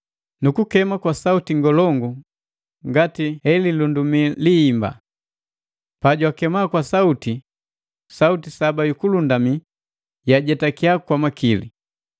nukukema kwa sauti ngolongu ngati he lilundumi lihimba. Pajwakema kwa sauti, sauti saba yu kulundumi yajetakia kwa makili.